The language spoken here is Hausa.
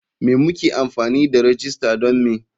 Me muke amfani da rajista don me?